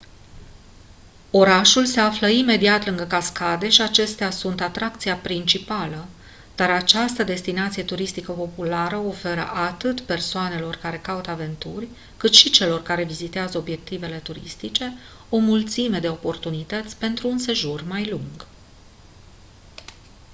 orașul se află imediat lângă cascade și acestea sunt atracția principală dar această destinație turistică populară oferă atât persoanelor care caută aventuri cât și celor care vizitează obiectivele turistice o mulțime de oportunități pentru un sejur mai lung